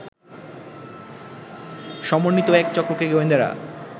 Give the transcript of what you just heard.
সমন্বিত এক চক্রকে গোয়েন্দারা